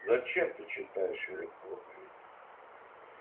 зачем ты читаешь мне проповеди